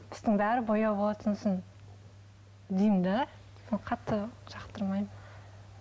үстіңнің бәрі бояу болады сосын деймін де сосын қатты жақтыраймын